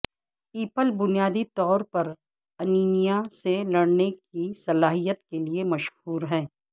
apple بنیادی طور پر انیمیا سے لڑنے کی صلاحیت کے لئے مشہور ہیں